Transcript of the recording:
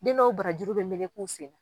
Den dɔw barajuru bɛ melek'u sen na.